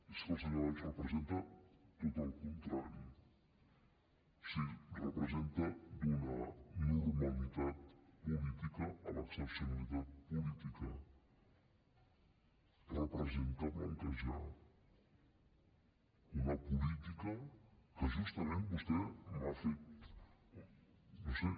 és que el senyor valls representa tot el contrari o sigui representa donar normalitat política a l’excepcionalitat política representa blanquejar una política que justament vostè m’ha fet no ho sé